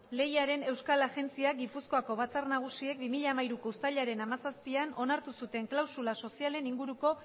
lehiaren euskal agintaritzak gipuzkoako batzar nagusiek bi mila hamairuko uztailaren hamazazpian onartu zuten klausula sozialen inguruko